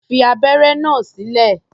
Fi abẹ́ré náà sílẹ̀!